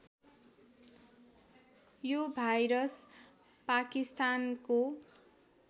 यो भाइरस पाकिस्तानको